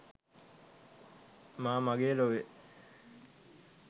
මා මගේ ලොවේ'